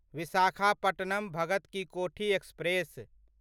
Visakhapatnam Bhagat ki Kothi express